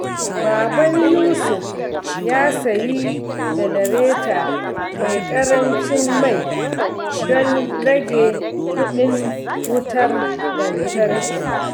Baban Yusuf ya sayi janareta mai ƙarancin mai don rage kuɗin wutar lantarki.